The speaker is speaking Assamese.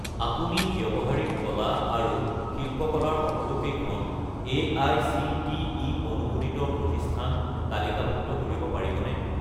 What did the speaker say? আপুনি ব্যৱহাৰিক কলা আৰু শিল্পকলা ৰ সকলোকেইখন এআইচিটিই অনুমোদিত প্ৰতিষ্ঠান তালিকাভুক্ত কৰিব পাৰিবনে?